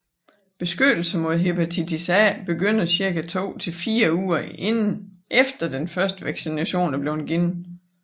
Beskyttelse mod hepatitis A begynder cirka to til fire uger efter den første vaccination er blevet givet